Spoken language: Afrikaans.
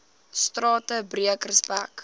strate breek respek